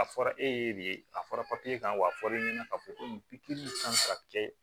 A fɔra e ye de ye a fɔra kan wa a fɔra e ɲɛna k'a fɔ ko nin pikiri kan ka kɛ